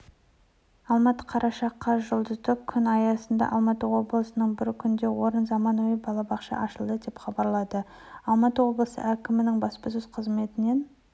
алматы қараша қаз жұлдызды күн аясында алматы облысында бір күнде орынды заманауи балабақша ашылды деп хабарлады алматы облысы әкімінің баспасөз қызметінен